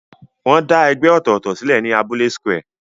Wọ́n dá ẹgbẹ́ ọ̀tọ̀ọ̀tọ̀ sílẹ̀ ní abúlé square.